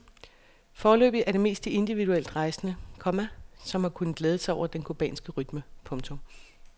Foreløbig er det mest de individuelt rejsende, komma som har kunnet glæde sig over den cubanske rytme. punktum